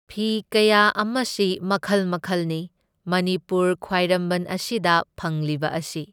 ꯐꯤ ꯀꯌꯥ ꯑꯃꯁꯤ ꯃꯈꯜ ꯃꯈꯜꯅꯤ, ꯃꯅꯤꯄꯨꯔ ꯈ꯭ꯋꯥꯏꯔꯝꯕꯟ ꯑꯁꯤꯗ ꯐꯪꯂꯤꯕ ꯑꯁꯤ꯫